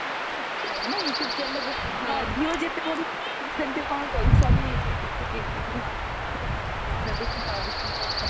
ଭଲ ଲାଗେ ନା youtube channelରୁ ହଁ views ଏତେ ବଢିବ ଯେ ସେତିକି ସେମତି କଣ ପଇସା ବି youtube channelରୁ ବି ପାଉଚନ୍ତି